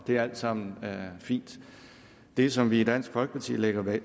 det er alt sammen fint det som vi i dansk folkeparti lægger